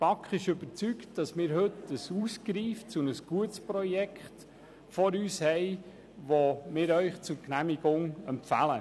Die BaK ist überzeugt, dass wir heute ein ausgereiftes und gutes Projekt vor uns haben, das wir Ihnen zur Genehmigung empfehlen.